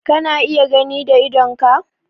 Kana iya gani da idonka?